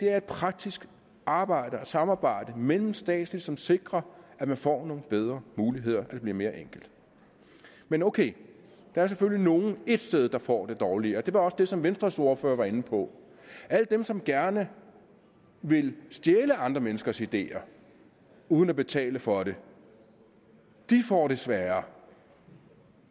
er et praktisk arbejde og samarbejde mellemstatsligt som sikrer at man får nogle bedre muligheder og at det bliver mere enkelt men okay der er selvfølgelig nogle ét sted der får det dårligere og det var også det som venstres ordfører var inde på alle dem som gerne vil stjæle andre menneskers ideer uden at betale for det får det sværere